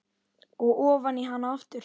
Og ofan í hana aftur.